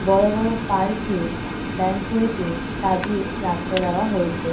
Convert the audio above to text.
বড় বড় পার্ক এ ব্যাংকুয়েট এ সাজিয়ে রাখিয়ে দেওয়া হয়েছে।